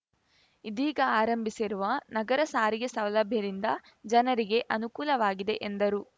ಇದೀಗ ಆರಂಭಿಸಿರುವ ನಗರ ಸಾರಿಗೆ ಸೌಲಭ್ಯದಿಂದ ಜನರಿಗೆ ಅನುಕೂಲವಾಗಿದೆ ಎಂದರು